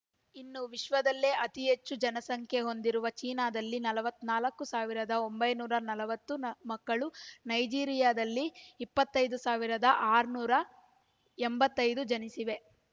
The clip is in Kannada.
ಇನ್ನು ವಿಶ್ವದಲ್ಲೇ ಅತಿ ಹೆಚ್ಚು ಜನಸಂಖ್ಯೆ ಹೊಂದಿರುವ ಚೀನಾದಲ್ಲಿ ನಲವತ್ತ್ ನಾಲ್ಕು ಸಾವಿರದ ಒಂಬೈನೂರ ನಲವತ್ತು ಮಕ್ಕಳು ನೈಜರಿಯಾದಲ್ಲಿ ಇಪ್ಪತ್ತ್ ಐದು ಸಾವಿರದ ಆರುನೂರ ಎಂಬತ್ತೈದು ಜನಿಸಿವೆ